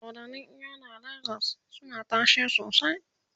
dodannin eyo na legas suna tashe sosai